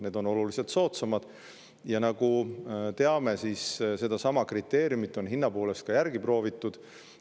Need on oluliselt soodsamad ja nagu teame, siis sedasama kriteeriumit on hinna poolest ka järgi proovitud.